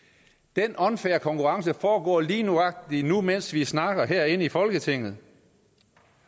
den unfair konkurrence foregår lige nøjagtig nu mens vi snakker herinde i folketinget